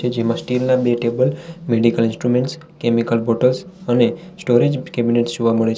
જેમાં સ્ટીલ ના બે table medical instruments chemical bottles અને સ્ટોરેજ કેબિનેટ જોવા મળે છે.